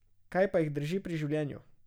Kaj pa jih drži pri življenju?